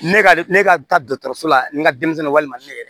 Ne ka ne ka taa dɔkɔtɔrɔsola n ka denmisɛnninw walima ne yɛrɛ